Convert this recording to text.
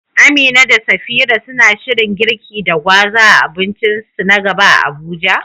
Amina da Safira suna shirin girki da gwaza a abincinsu na gaba a Abuja?